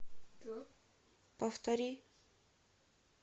повтори